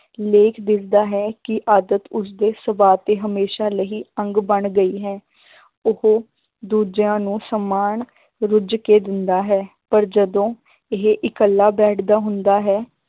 ਲੇਖ ਦੱਸਦਾ ਹੈ ਕਿ ਆਦਤ ਉਸਦੇ ਸੁਭਾਅ ਤੇ ਹਮੇਸ਼ਾ ਲਈ ਅੰਗ ਬਣ ਗਈ ਹੈ ਉਹ ਦੂਜਿਆਂ ਨੂੰ ਸਮਾਨ ਰੁੱਝ ਕੇ ਦਿੰਦਾ ਹੈ, ਪਰ ਜਦੋਂ ਇਹ ਇਕੱਲਾ ਬੈਠਦਾ ਹੁੰਦਾ ਹੈ